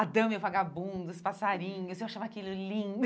A dama e o vagabundo, os passarinhos, eu achava aquilo lindo.